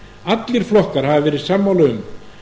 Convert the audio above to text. allir flokkar hafa verið sammála um